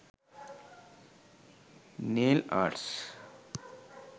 nail arts